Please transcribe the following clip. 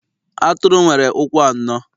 Atụrụ nwere ụkwụ anọ